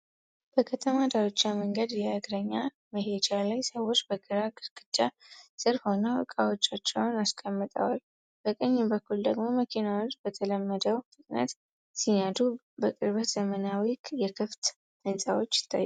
በከተማ ዳርቻ መንገድ የእግረኛ መሄጃ ላይ፣ ሰዎች በግራ ግድግዳ ስር ሆነው ዕቃዎቻቸውን አስቀምጠዋል። በቀኝ በኩል ደግሞ መኪናዎች በተለመደው ፍጥነት ሲነዱ፣ በርቀት ዘመናዊ የከፍታ ሕንጻዎች ይታያሉ።